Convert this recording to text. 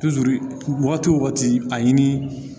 wagati wo wagati a ɲini